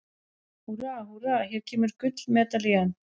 Húrra, húrra- hér kemur gullmedalían!